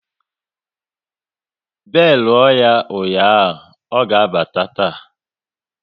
Belu ya bụ ụnyaahụ, ọ ga abata taa